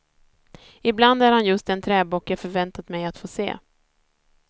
I bland är han just den träbock jag förväntat mig att få se.